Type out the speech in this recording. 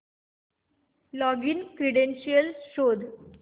login credentials शोध